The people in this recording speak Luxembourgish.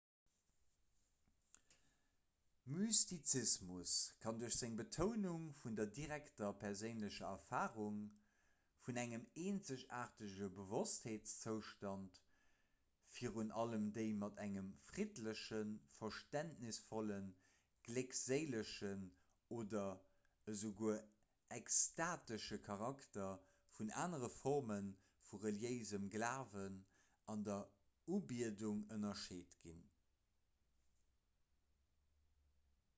mystizismus kann duerch seng betounung vun der direkter perséinlecher erfarung vun engem eenzegaartege bewosstsinnszoustand virun allem déi mat engem friddlechen verständnisvollen gléckséilegen oder esouguer extatesche charakter vun anere forme vum reliéise glawen an der ubiedung ënnerscheet ginn